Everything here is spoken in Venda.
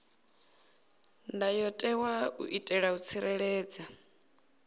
ndayotewa u itela u tsireledza